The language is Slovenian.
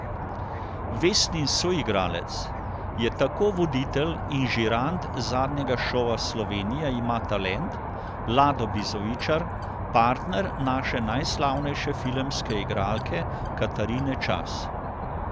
Vesnin soigralec je tako voditelj in žirant zadnjega šova Slovenija ima talent Lado Bizovičar, partner naše najslavnejše filmske igralke Katarine Čas.